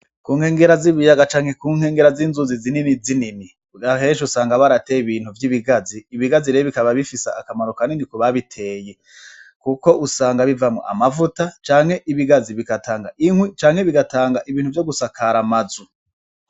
Ku nkengera z'ibiyaga canke ku nkengera z'inzuzi zininizinini aheshi usanga harahateye ibintu vy'ibigazi, ibigazi rero bikaba bifise akamaro kanini ku babiteye kuko usanga bivamwo amavuta canke ibigazi bigatanga inkwi canke bigatanga ibintu vyo gusakara amazu.